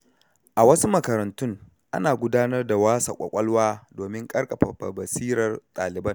A wasu makarantun, ana gudanar da wasa ƙwaƙwalwa domin ƙarfafa basirar ɗaliban.